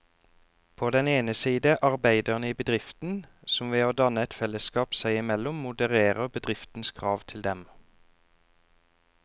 På den ene side arbeiderne i bedriften, som ved å danne et fellesskap seg imellom modererer bedriftens krav til dem.